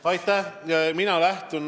Aitäh!